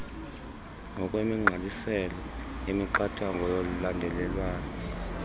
ngokwemigqaliselo yemiqathango yolandelelwano